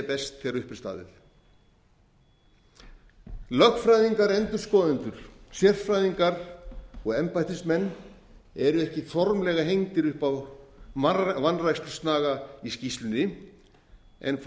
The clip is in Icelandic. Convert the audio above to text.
best þegar upp er staðið lögfræðingar endurskoðendur sérfræðingar og embættismenn eru ekki formlega hengdir upp á vanrækslusnaga í skýrslunni en fá